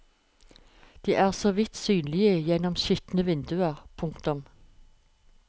De er så vidt synlige gjennom skitne vinduer. punktum